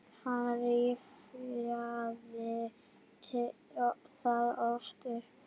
Hann rifjaði það oft upp.